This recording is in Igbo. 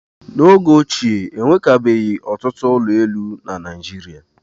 N'oge ochie, e nwekabeghị ọtụtụ ụlọ elu na Naịjirịa.